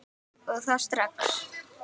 Og það strax.